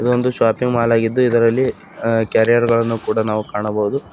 ಇದೊಂದು shopping mall ಆಗಿದ್ದು ಇದರಲ್ಲಿ ಕೆರಿಯರ್ ಗಳನ್ನು ಕೂಡ ನಾವು ಕಾಣಬಹುದು.